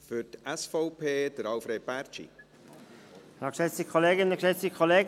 Wir konnten diesen ja nicht einmal besprechen, er kam relativ spät.